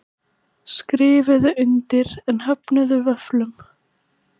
Skrifuðu undir en höfnuðu vöfflum